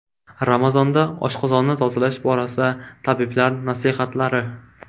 Ramazonda oshqozonni tozalash borasida tabiblar nasihatlari.